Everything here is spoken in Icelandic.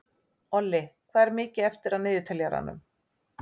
Olli, hvað er mikið eftir af niðurteljaranum?